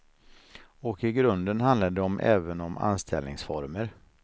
Och i grunden handlar det om även om anställningsformer.